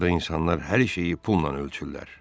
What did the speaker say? Burda insanlar hər şeyi pulla ölçürlər.